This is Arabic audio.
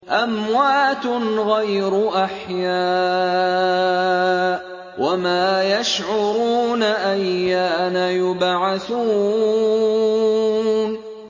أَمْوَاتٌ غَيْرُ أَحْيَاءٍ ۖ وَمَا يَشْعُرُونَ أَيَّانَ يُبْعَثُونَ